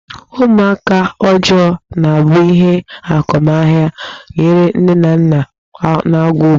Ụmụaka ọjọọ na-abụ ihe ọghọmahịa nyere nne na nna nakwa obodo.